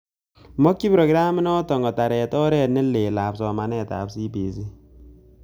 Makchin programit nootok kotaret oret nelel ap somanet ap CBC.